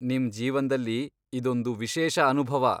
ನಿಮ್ ಜೀವನ್ದಲ್ಲಿ ಇದೊಂದು ವಿಶೇಷ ಅನುಭವ.